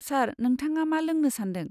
सार, नोंथाङा मा लोंनो सान्दों?